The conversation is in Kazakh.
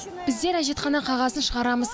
біздер әжетхана қағазын шығарамыз